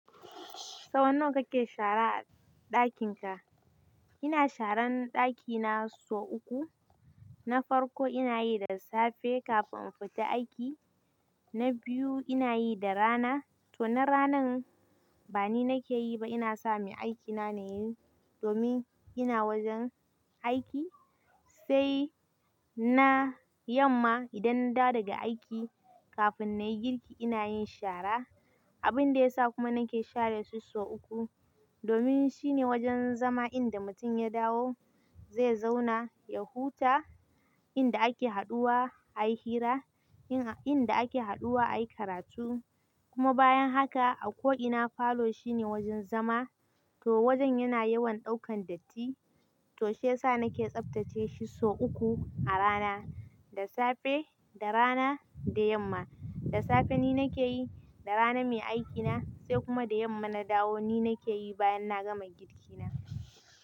Saunawa kake shara a ɗakin ka? Ina sharan ɗakina sau uku. Na farko inayi da safe kafin in fita aiki, na biyu inayi da rana to na rana ba ni nake yi ba, ina sa mai aikina nayi domin ina wajen aiki, sai na yamma idan nadawo daga aiki. Kafin nayi girki inayin shara. Abin da yasa kuma nake share shi sau uku, domin shine wajen zama inda mutum ya dawo zai zauna, ya huta, inda ake haduwa ayi hira, inda ake haduwa ayi karatu kuma bayan haka a ko ina falo shine wajen zama. To wajen yana yawan ɗaukan datti, to shiyasa nake tsaftace shi sau uku a rana, da safe, da rana, da yamma. Da safe ni nake yi, da rana mai aikina sai kuma da yamma na dawo ni nake yi bayan na gama girki na.